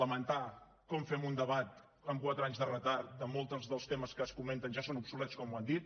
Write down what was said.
lamentar que fem un debat amb quatre anys de retard que molts dels temes que es comenten ja són obsolets com han dit